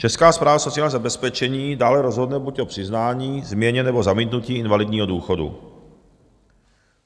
Česká správa sociálního zabezpečení dále rozhodne buď o přiznání, změně, nebo zamítnutí invalidního důchodu.